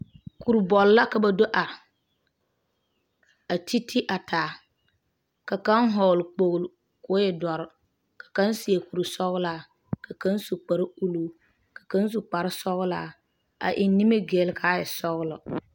Kurbɔl la ka ba do are a ti ti a taa ka kaŋa vɔgeli kpolo kɔɔ e doɔre. ka kaŋa seɛ kur sɔglaa ka ka su kpar ulluu ka kaŋa su kpar sɔglaa a eŋe nimi gil kaa e sɔglɔ.